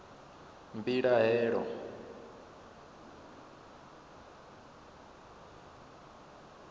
mbilahelo